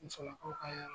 Musolakaw ka